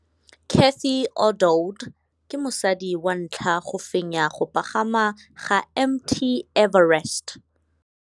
Cathy Odowd ke mosadi wa ntlha wa go fenya go pagama ga Mt Everest.